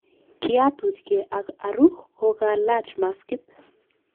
Kiatuch gee ak aru kokalach maskit